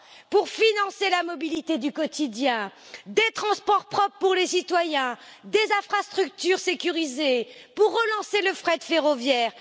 Pour financer la mobilité du quotidien, des transports propres pour les citoyens, des infrastructures sécurisées, pour relancer le fret ferroviaire.